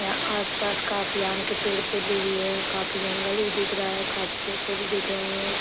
यहाँ आस-पास काफी आम के पेड़-पौधे भी है काफी जंगल भी दिख रहा है काफी पेड़-पौधे दिख रहे हैं ।